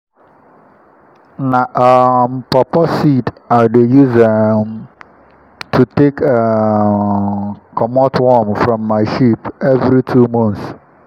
na um paw paw seed i dey use um to take um comot worm form my sheep every two months.